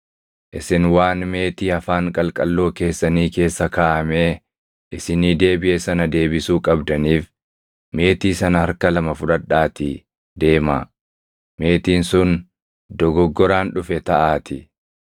Isin waan meetii afaan qalqalloo keessanii keessa kaaʼamee isinii deebiʼe sana deebisuu qabdaniif meetii sana harka lama fudhadhaatii deemaa; meetiin sun dogoggoraan dhufe taʼaatii.